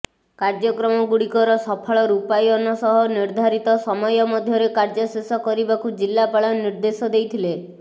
କାର୍ୟକ୍ରମଗୁଡିକର ସଫଳ ରୂପାୟନ ସହ ନିର୍ଦ୍ଧାରିତ ସମୟ ମଧ୍ୟରେ କାର୍ୟ୍ୟ ଶେଷ କରିବାକୁ ଜିଲାପାଳ ନିର୍ଦ୍ଦେଶ ଦେଇଥିଲେ